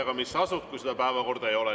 Aga mis sa asud, kui seda päevakorda ei ole.